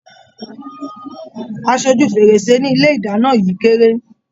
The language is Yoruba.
Aṣọ ojú fèrèsé ní ilé ìdáná yìí kéré.